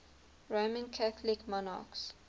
roman catholic monarchs